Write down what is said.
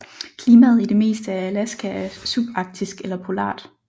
Klimaet i det meste af Alaska er subarktisk eller polart